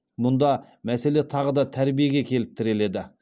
мұнда мәселе тағы да тәрбиеге келіп тіреледі